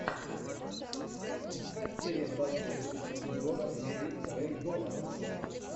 искать серия двадцать шесть сезона девять рэй донован